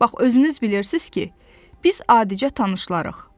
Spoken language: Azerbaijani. Bax, özünüz bilirsiz ki, biz adicə tanışlarıq.